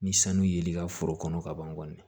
Ni sanu ye li ka foro kɔnɔ ka ban kɔni